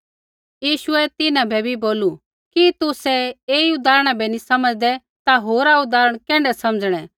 यीशुऐ तिन्हां बै भी बोलू कि तुसै ऐई उदाहरणा बै नी समझ़दै ता होरा उदाहरण कैण्ढै समझ़णै